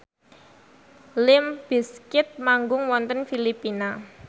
limp bizkit manggung wonten Filipina